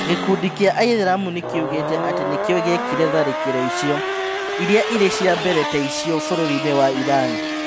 Gĩkundi kĩa aithĩramu nĩ kĩugĩte atĩ nĩkĩo gĩekire tharĩkĩro icio, iria irĩ cia mbere ta icio bũrũri-inĩ wa Iran.